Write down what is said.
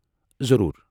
ضروُر !